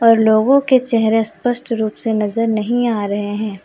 और लोगों के चेहरे स्पष्ट रूप से नजर नहीं आ रहे हैं।